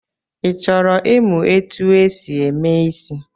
Ị chọrọ imụ etu e si eme isị̣?